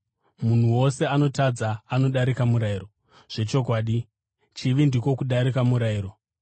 Munhu wose anotadza anodarika murayiro, zvechokwadi, chivi ndiko kudarika murayiro.